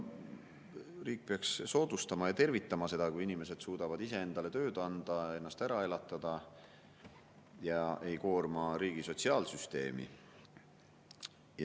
Riik peaks soodustama ja tervitama seda, kui inimesed suudavad iseendale tööd anda, ennast ära elatada ja ei koorma riigi sotsiaalsüsteemi.